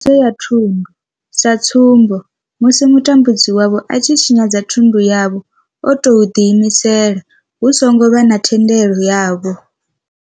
Tshinyadzo ya thundu, sa tsumbo, musi mutambudzi wavho a tshi tshinyadza thundu yavho o tou ḓiimisela hu songo vha na thendelo yavho.